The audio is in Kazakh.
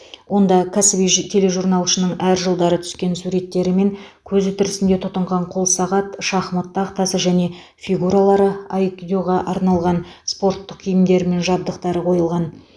онда кәсіби ж тележурналшының әр жылдары түскен суреттері мен көзі тірісінде тұтынған қолсағат шахмат тақтасы және фигуралары айкидоға арналған спорттық киімдері мен жабдықтары қойылған